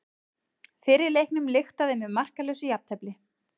Fyrri leiknum lyktaði með markalausu jafntefli